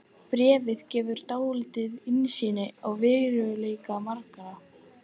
Bréfið gefur dálitla innsýn í veruleika margra.